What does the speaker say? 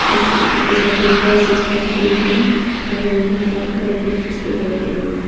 उसके जिसके साथ एक असिस्टेंट भी है और यहां काफी तरह की बुक्स दिखाई पड़ रही हैं।